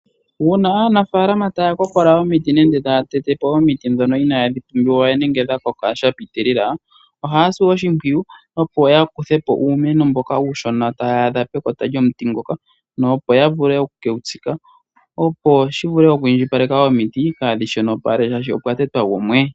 Uuna aanafaalama taa kokola omiti nenge taa tete po omiti dhoka inadhi pumbiwa we nenge dha koka sha pitilila, ohaa si oshimpwiyu opo yaa kuthe po uumeno mboka uushona taa adha pekota lyomuti ngoka, opo ya vule okukewu tsika, opo shi vule okwiindjipaleka omiti kaadhi shonopale oshoka opwa tetwa gumwe.